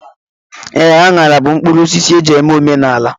Ee, aṅara bụ mkpụrụosisi e ji eme omenala.